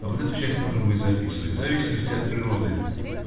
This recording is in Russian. а вот эту часть нужно будет записывать в зависимости от природы